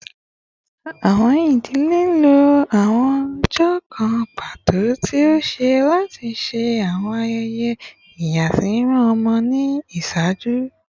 Awọn idile lo awọn ọjọ kan pato ti ọsẹ lati ṣe awọn ayẹyẹ iyasimimọ ọmọ ni iṣaaju